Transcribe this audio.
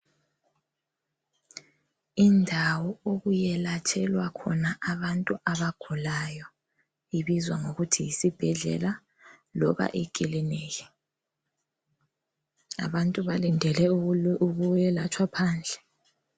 Indawo okuyelatshelwa khona abantu abagulayo ibizwa ngokuthi yisibhedlela loba ikiliniki, abantu balindele ukuyelatshwa phandle